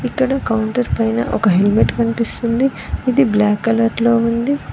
ఇక్కడ కౌంటర్ పైన ఒక హెల్మెట్ కనిపిస్తుంది అది బ్లాక్ కలర్ లో ఉంది.